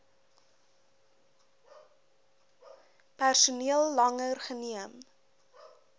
personeel langer geneem